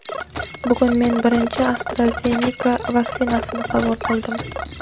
Bugun men birinchi AstraZeneca vaksinasini qabul qildim.